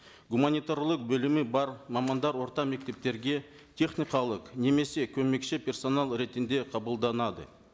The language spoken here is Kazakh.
гуманитарлық білімі бар мамандар орта мектептерге техникалық немесе көмекші персонал ретінде қабылданады